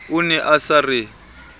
o ne a sa re